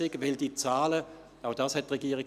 Denn diese Zahlen sinken sowieso laufend.